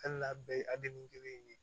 Hali n'a bɛɛ ye kelen ye